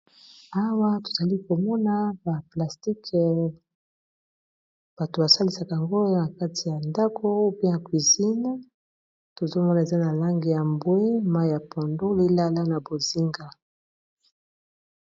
Awa tozali komona ba plastike bato ba salisaka ngolo na kati ya ndako pi ya cuizine tozomona eza na lange ya mbwe, mai ya pondo lilala na bozinga.